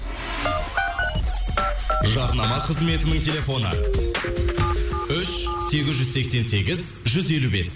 жарнама қызметінің телефоны үш сегіз жүз сексен сегіз жүз елу бес